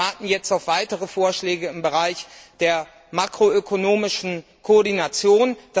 Wir warten jetzt auf weitere Vorschläge im Bereich der makroökonomischen Koordination.